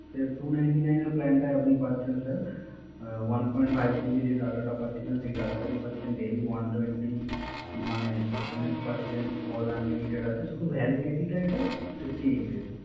Sir Two Ninty nine এর Plan টায় আপনি পাচ্ছেন Sir one point five GB যে Data টা পাচ্ছিলেন সেই Data টাই পাচ্ছেন Daily One Twenty SMS পাচ্ছেন। কল আনলিমিটেড আছে। শুধু Validity টাই Fifty eight days